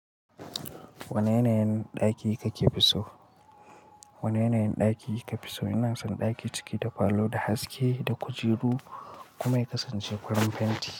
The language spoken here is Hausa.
Wane yanayin ɗaki kake fi so? Wane yanayin ɗaki kafu so? Ina son ɗaki ciki da falo da haske, da kujeru, kuma ya kasance farin fenti.